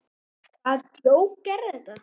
Hvaða djók er þetta?